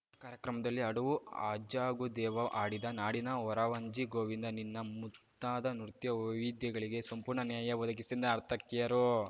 ಈ ಕಾರ್ಯಕ್ರಮದಲ್ಲಿ ಅಡವು ಅಜ್ಹಾಗು ದೇವಾ ಆಡಿದ ನಾಡಿನ ವೊರವಂಜಿ ಗೋವಿಂದ ನಿನ್ನ ಮುಂತಾದ ನೃತ್ಯ ವೈವಿದ್ಯಗಳಿಗೆ ಸಂಪೂರ್ಣ ನ್ಯಾಯ ಒದಗಿಸಿದ ನರ್ತಕಿಯರು